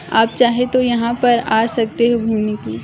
आप चाहे तो यहां पर आ सकते हो घुमने के--